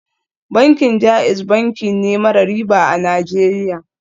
Bankin JAIZ banki ne mara riba a Najeriya